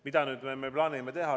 Mida me plaanime teha?